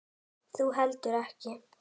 Þú heldur ekki.